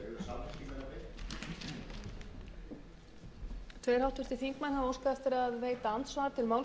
að eir skilji ekki sjá ljósið í þessum efnum